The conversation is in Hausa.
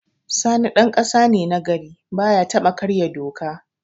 Sani ɗan ƙasa ne na gari, baya taɓa karya doka.